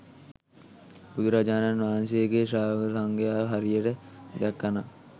බුදුරජාණන් වහන්සේගේ ශ්‍රාවක සංඝයා හරියට දැක්ක නම්